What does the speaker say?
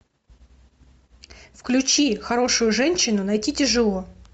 включи хорошую женщину найти тяжело